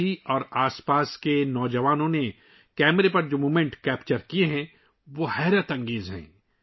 کاشی اور آس پاس کے نوجوانوں نے جو لمحات کیمرے میں قید کیے ہیں ، وہ حیرت انگیز ہیں